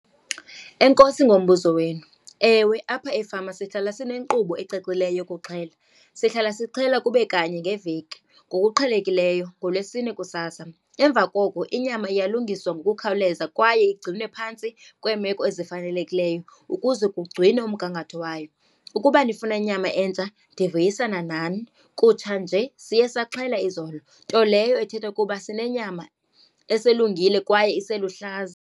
Enkosi ngombuzo wenu. Ewe, apha efama sihlala zinenkqubo ecacileyo yokuxhela. Sihlala sixhela kube kanye ngeveki ngokuqhelekileyo, ngoLwesine kusasa. Emva koko inyama iyalungiswa ngokukhawuleza kwaye igcinwe phantsi kweemeko ezifanelekileyo ukuze kugcinwe umgangatho wayo. Ukuba nifuna nyama entsha, ndiyavuyisana nani. Kutshanje siye saxhela izolo, nto leyo ethetha ukuba sinenyama eselungile kwaye iseluhlaza.